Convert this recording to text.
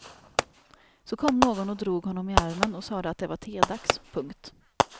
Så kom någon och drog honom i armen och sade att det var tedags. punkt